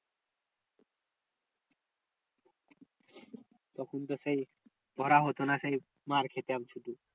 তখন তো সেই ধরা হতো না সেই মার্ খেতাম শুধু।